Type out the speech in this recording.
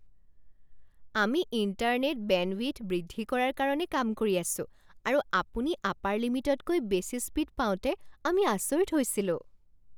আমি internet bandwidth বৃদ্ধি কৰাৰ কাৰণে কাম কৰি আছোঁ আৰু আপুনি আপাৰ লিমিটতকৈ বেছি স্পীড পাওঁতে আমি আচৰিত হৈছিলোঁ।